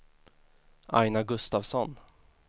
Aina Gustavsson